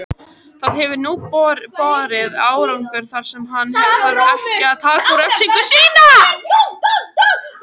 Það hefur nú borið árangur þar sem hann þarf ekki að taka út refsingu sína.